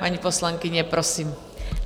Paní poslankyně, prosím.